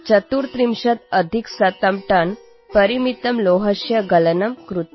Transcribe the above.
ଏଥିରେ ୧୩୪ ଟନ୍ ଲୁହା ସଂଗ୍ରହ କରାଯାଇଥିଲା